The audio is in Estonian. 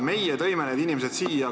Meie tõime need inimesed siia.